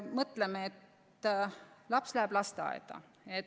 Mõtleme, mis saab, kui laps läheb lasteaeda.